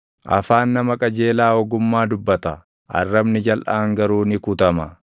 Qajeeltonni yoom iyyuu hin fonqolfaman; hamoonni garuu lafa irratti hin hafan.